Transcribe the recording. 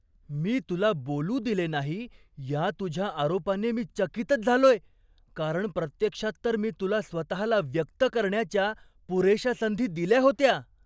मी तुला बोलू दिले नाही या तुझ्या आरोपाने मी चकितच झालोय, कारण प्रत्यक्षात तर मी तुला स्वतःला व्यक्त करण्याच्या पुरेशा संधी दिल्या होत्या.